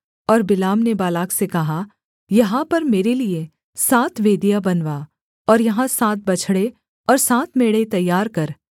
और बिलाम ने बालाक से कहा यहाँ पर मेरे लिये सात वेदियाँ बनवा और यहाँ सात बछड़े और सात मेढ़े तैयार कर